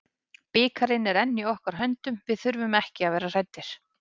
Bikarinn er enn í okkar höndum, við þurfum ekki að vera hræddir.